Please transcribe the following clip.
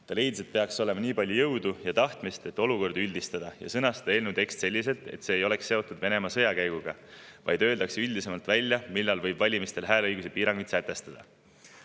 Ta leidis, et peaks olema nii palju jõudu ja tahtmist, et olukorda üldistada ja sõnastada eelnõu tekst selliselt, et see ei oleks seotud Venemaa sõjakäiguga, vaid öeldaks üldisemalt välja, millal võib valimistel hääleõiguse piiranguid sätestada.